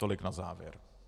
Tolik na závěr.